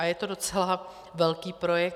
A je to docela velký projekt.